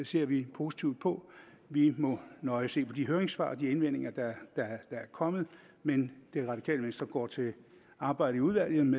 ser vi positivt på vi må nøje se på de høringssvar og de indvendinger der er kommet men det radikale venstre går til arbejdet i udvalget med